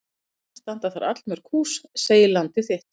Enn standa þar allmörg hús segir Landið þitt.